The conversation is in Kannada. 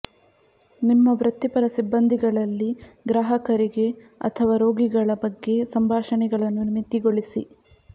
ನಿಮ್ಮ ವೃತ್ತಿಪರ ಸಿಬ್ಬಂದಿಗಳಲ್ಲಿ ಗ್ರಾಹಕರಿಗೆ ಅಥವಾ ರೋಗಿಗಳ ಬಗ್ಗೆ ಸಂಭಾಷಣೆಗಳನ್ನು ಮಿತಿಗೊಳಿಸಿ